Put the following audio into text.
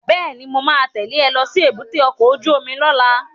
Bẹ́ẹ̀ni, mo ma tẹ́lẹ̀ ẹ lọ sí èbúté ọkọ̀ ojú omi lọ́la